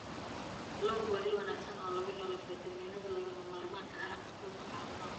Kalluunku waa il wanaagsan oo laga helo fiitamiinnada lagama maarmaanka u ah cunto caafimaad leh.